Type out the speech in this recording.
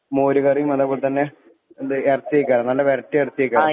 മോര് കറീം അതെ പോലെ തന്നെ എന്ത് എറച്ചിയേക്കാരം നല്ല വെരട്ടിയ എറച്ചിയേക്കാരം